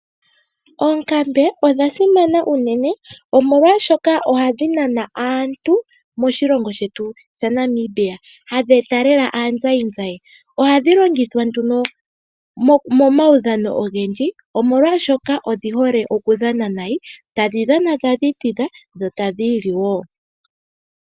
Oonkambe odha simana unene omolwashoka ohadhi nana aantu moshilongo shetu shaNamibia hadhi eta lela aazayizayi ohadhi longithwa nduno momaudhano ogendji omolwashoka odhi hole okudhana nayi, tadhi dhana tadhi itidha dho tadhi ili wo.